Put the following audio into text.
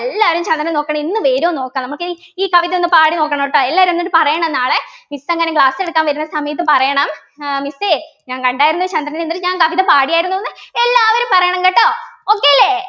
എല്ലാവരും ചന്ദ്രനെ നോക്കണം ഇന്നു വരോ നോക്കാം നമുക്കിനി ഈ കവിത ഒന്ന് പാടി നോക്കണട്ടോ എല്ലാവരും എന്നിട്ട് പറയണം നാളെ miss അങ്ങനെ class എടുക്കാൻ വരുന്ന സമയത്ത് പറയണം ഏർ Miss എ ഞാൻ കണ്ടായിരുന്നു ചന്ദ്രനെ എന്നിട്ട് ഞാൻ കവിത പാടിയായിരുന്നു എന്ന് എല്ലാവരും പറയണം കേട്ടോ Okay ല്ലേ